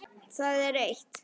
Það er eitt.